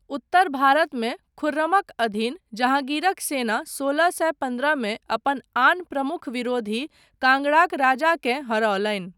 उत्तर भारतमे, खुर्रमक अधीन जहाँगीरक सेना सोलह सए पन्द्रहमे अपन आन प्रमुख विरोधी, काँगड़ाक राजाकेँ हरौलनि।